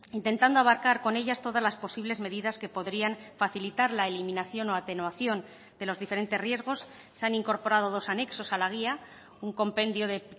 intentando abarcar con ellas todas las posibles medidas que podrían facilitar la eliminación o atenuación de los diferentes riesgos se han incorporado dos anexos a la guía un compendio de